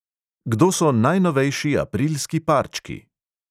Kdo so najnovejši aprilski parčki?